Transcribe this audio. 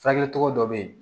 Furakɛli cogo dɔ bɛ yen